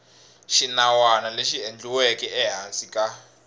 xinawana lexi endliweke ehansi ka